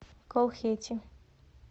колхети